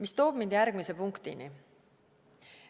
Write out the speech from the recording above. See toob mind järgmise punktini.